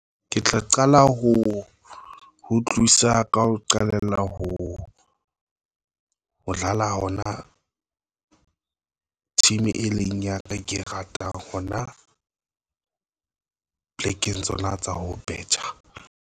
Ke tla qala ho tlisa ka ho qalella ho dlala hona team e leng ya ka ke e ratang hona plekeng tsona tsa ho betjha.